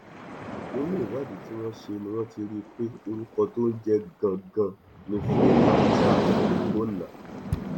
nínú ìwádìí tí wọn ṣe ni wọn ti rí i pé orúkọ tó ń jẹ gangan ni freeman charles ọgbọnna